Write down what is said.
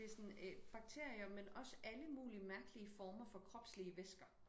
Det sådan øh bakterier men også alle mulige mærkelige former for kropslige væsker